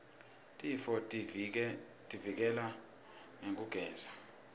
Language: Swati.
tifotivike leka ngekugeza